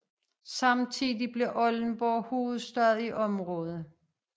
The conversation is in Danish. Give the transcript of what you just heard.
Samtidigt blev Oldenborg hovedstad i området